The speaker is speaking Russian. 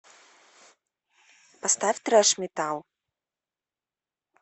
поставь трэш метал